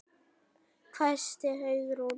hvæsti Hugrún.